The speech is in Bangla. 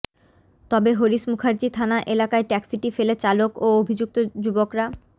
তবে হরিশ মুখার্জি থানা এলাকায় ট্যাক্সিটি ফেলে চালক ও অভিযুক্ত যুবকরা